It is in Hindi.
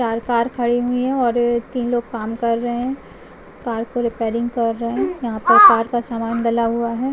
चार कार खड़ी हुई है और तीन लोग काम कर रहे है कार को रिपेयरिंग कर रहे है यहां पर कार का सामान डला हुआ है।